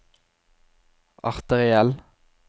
arteriell